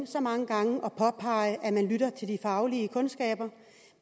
så mange gange og påpege at man lytter til de faglige kundskaber